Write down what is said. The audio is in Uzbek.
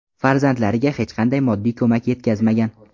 Farzandlariga hech qanday moddiy ko‘mak yetkazmagan.